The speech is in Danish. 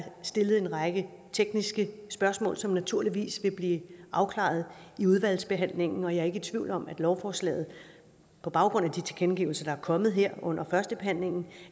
stillet en række tekniske spørgsmål som naturligvis vil blive afklaret i udvalgsbehandlingen og jeg er ikke i tvivl om at lovforslaget på baggrund af de tilkendegivelser der er kommet her under førstebehandlingen